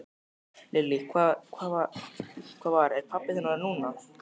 Lillý: Hvað var, er pabbi þinn orðinn núna?